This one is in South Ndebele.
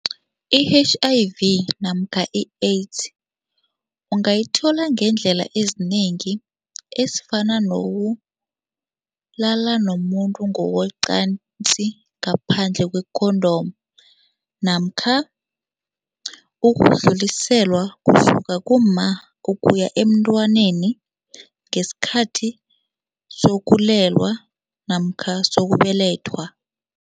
I-H_I_V namkha i-AIDS ungayithola ngeendlela ezinengi ezifana nokulala nomuntu ngokocansi ngaphandle kwe-condom namkha ukudluliselwa kusuka kumma ukuya emntwaneni ngesikhathi sokulelwa namkha sokubelethwa.